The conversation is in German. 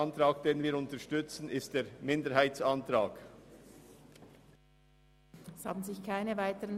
Wir unterstützen einzig den Minderheitsantrag bezüglich der GeBePro.